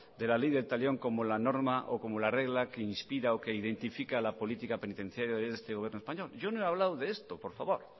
de la ley de talión como la norma o como la regla que inspira o que identifica la política penitenciaria de este gobierno español yo no he hablado de esto por favor